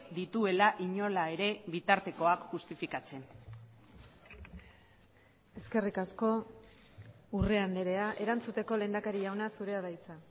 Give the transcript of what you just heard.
dituela inola ere bitartekoak justifikatzen eskerrik asko urrea andrea erantzuteko lehendakari jauna zurea da hitza